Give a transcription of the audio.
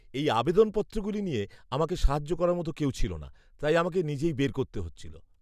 এই আবেদনপত্রগুলি নিয়ে আমাকে সাহায্য করার মতো কেউ ছিল না, তাই আমাকে নিজেই বের করতে হচ্ছিল।